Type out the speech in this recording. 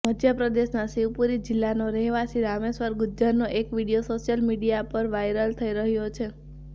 મધ્યપ્રદેશના શિવપુરી જિલ્લાનો રહેવાસી રામેશ્વર ગુર્જરનો એક વીડિયો સોશિયલ મીડિયામાં વાઈરલ થઈ રહ્યો છે